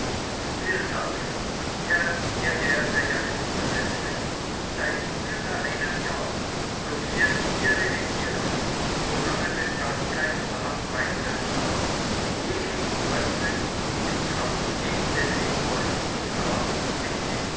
Herr Präsident! Sehr geehrter Herr Ministerpräsident, seit über einem Jahr blockiert Ihre Regierung zusammen mit Frankreich und acht weiteren Staaten jeglichen Fortschritt im Kampf gegen den Export von Überwachungstechnik an Diktaturen.